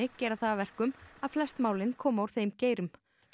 gera það að verkum að flest málin komi úr þeim geirum